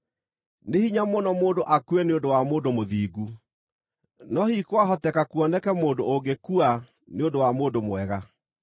Nĩ hinya mũno mũndũ akue nĩ ũndũ wa mũndũ mũthingu, no hihi kwahoteka kuoneka mũndũ ũngĩkua nĩ ũndũ wa mũndũ mwega.